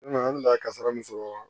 N nana an da kasara min sɔrɔ